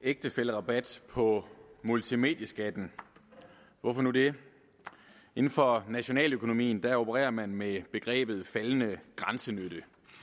ægtefællerabat på multimedieskatten hvorfor nu det inden for nationaløkonomien opererer man med begrebet faldende grænsenytte